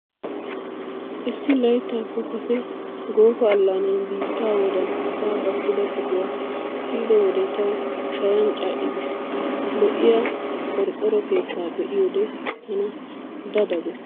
Issi layttaappe Kase goofa allaanan biittaa wodan asaa gakkida qohuwaa siyido wode tawu shayan ca'i giis. Lo'iyaa qorqqoro keettaa be'iyoode tana da da gees.